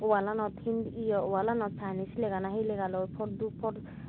wlalanot hind ye walanot hi chinese lega na hi legaloi pordupor.